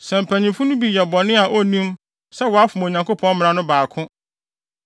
“ ‘Sɛ mpanyimfo no bi yɛ bɔne a onnim sɛ wafom Onyankopɔn mmara no baako